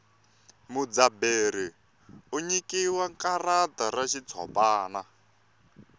mudzaberi u nyikiwa karata ra xitshopani